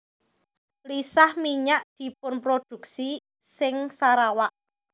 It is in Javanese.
Lisah minyak dipunprodhuksi ing Sarawak